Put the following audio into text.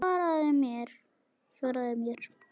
Svaraðu mér!